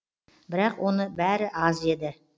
бірақ оның бәрі аз еді